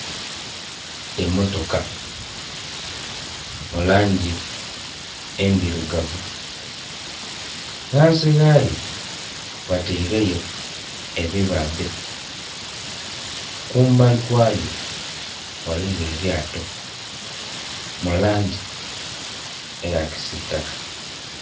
Emotoka mulangi endhirugavu ghansighayo bataireyo ebibadhe kumbali kwayo. Ghaliyo elyato mulangi eya kisitaka.